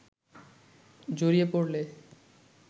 জড়িয়ে পড়লে